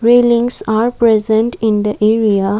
grillings are present in the area.